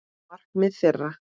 Markmið þeirra.